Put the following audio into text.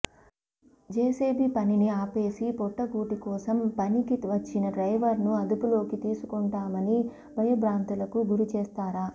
JCB పనిని అపేసి పొట్ట కూటి కోసం పనికి వచ్చిన డ్రైవర్ను అదుపులోకి తీసుకుంటామని భయబ్రాంతులకు గురిచేస్తారా